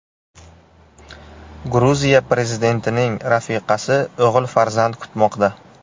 Gruziya prezidentining rafiqasi o‘g‘il farzand kutmoqda.